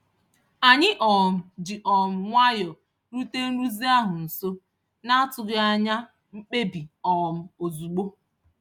Anyị um ji um nwayọ rute nrụzi ahụ nso, n'atụghị anya mkpebi um ozugbo.